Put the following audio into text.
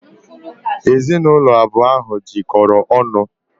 Ezinụlọ abụọ ahụ jikọrọ ọnụ.